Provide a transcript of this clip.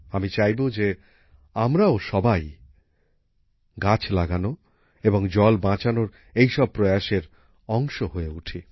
আমি চাইব যে আমরাও সবাই গাছ লাগানো এবং জল বাঁচানোর এই সব প্রয়াসের অংশ হয়ে উঠি